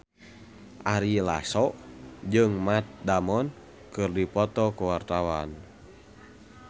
Ari Lasso jeung Matt Damon keur dipoto ku wartawan